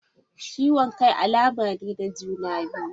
Ciwon Kai alama ne na juna biyu..